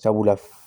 Sabula